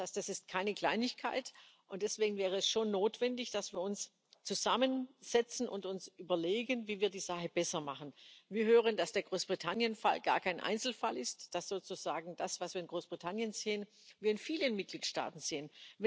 Das heißt, es ist keine Kleinigkeit. Und deswegen wäre es schon notwendig, dass wir uns zusammensetzen und uns überlegen, wie wir die Sache besser machen. Wir hören, dass der Fall Großbritannien gar kein Einzelfall ist, dass wir das, was wir in Großbritannien sehen, in vielen Mitgliedstaaten sehen.